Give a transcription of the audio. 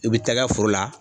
I bi taa i kɛ foro la.